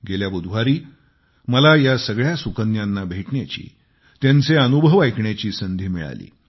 गेल्या बुधवारी मला या सगळ्या सुकन्यांना भेटण्याची त्यांचे अनुभव ऐकण्याची संधी मिळाली